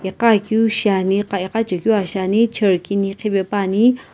ika akiu shi ani ikachekiu aa shi ani chair kini khipepa ani.